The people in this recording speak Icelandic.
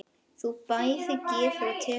Hún bæði gefur og tekur.